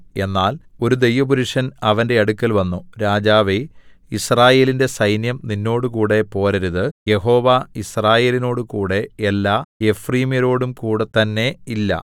എന്നാൽ ഒരു ദൈവപുരുഷൻ അവന്റെ അടുക്കൽ വന്നു രാജാവേ യിസ്രായേലിന്റെ സൈന്യം നിന്നോടുകൂടെ പോരരുത് യഹോവ യിസ്രായേലിനോട് കൂടെ എല്ലാ എഫ്രയീമ്യരോടുംകൂടെ തന്നേ ഇല്ല